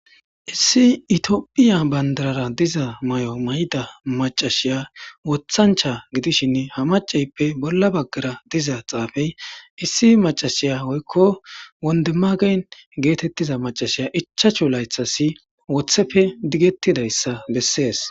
Issi itiophiya bandarara diza may7o may7ida macashiya wothancha gidishinne ha maceyppe bolla baggara diza xaafey issi macashiya hoykko wondemagayn geetettiza macashiya ichachu laythasi wothepfe diggettidayssa bessees